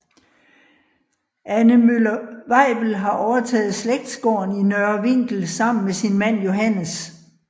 Anne Møller Weibel har overtaget slægtsgården Nørre Vinkel sammen med sin mand Johannes